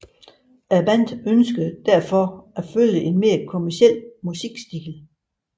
Bandet ønskede derfor at følge en mere kommerciel musikstil